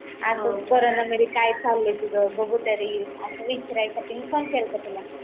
असंच कोरोना मध्ये काय चाललंय तुझ बघु तरी असंच विचारायसाठी मी फोन केला